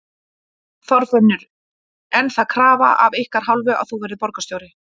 Þorfinnur: En er það krafa af ykkar hálfu að þú verðir borgarstjóri?